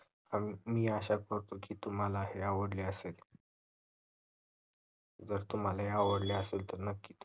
आणि मी आशा करतो की हे तुम्हाला आवडले असेल जर तुम्हाला हे आवडले असेल तर नक्कीच